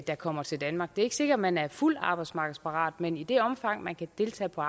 der kommer til danmark det er ikke sikkert at man er fuldt ud arbejdsmarkedsparat men i det omfang man kan deltage på